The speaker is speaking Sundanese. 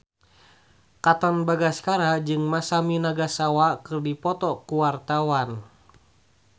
Katon Bagaskara jeung Masami Nagasawa keur dipoto ku wartawan